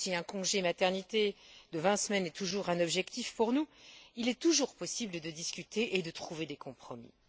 Si un congé maternité de vingt semaines est toujours un objectif pour nous, il est toujours possible de discuter et de trouver des compromis.